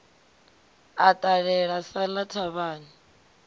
a ṱalela sa ḽa thavhani